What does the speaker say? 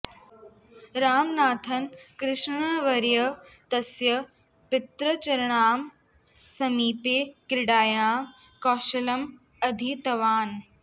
रामनाथन् कृष्णन्वर्यः तस्य पितृचरणानां समीपे क्रीडायाः कौशलम् अधीतवान्